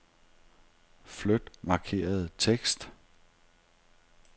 Flyt markerede tekst.